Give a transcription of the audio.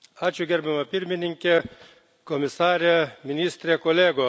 Gerbiama Pirmininke, Komisare, Ministre, kolegos.